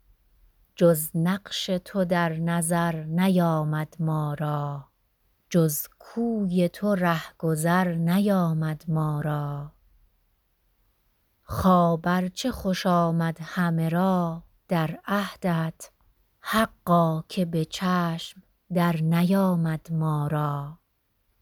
جز نقش تو در نظر نیامد ما را جز کوی تو رهگذر نیامد ما را خواب ار چه خوش آمد همه را در عهدت حقا که به چشم در نیامد ما را